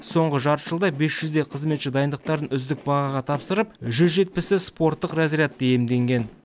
соңғы жарты жылда бес жүздей қызметші дайындықтарын үздік бағаға тапсырып жүз жетпісі спорттық разрядты иемденген